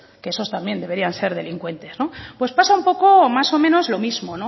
que esos también deberían ser delincuentes no pues pasa un poco más o menos lo mismo